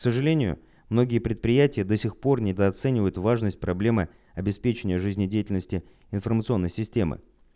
к сожалению многие предприятия до сих пор недооценивают важность проблемы обеспечения жизнедеятельности информационной системы